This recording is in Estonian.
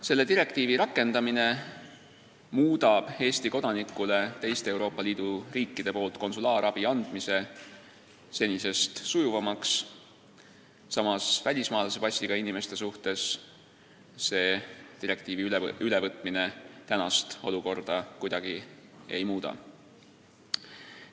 Selle direktiivi rakendamine muudab Eesti kodanikule teiste Euroopa Liidu riikide poolt konsulaarabi andmise sujuvamaks, samas välismaalase passiga Eestis elavate inimeste jaoks selle direktiivi ülevõtmine praegust olukorda kuidagi ei muuda.